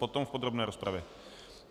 Potom v podrobné rozpravě .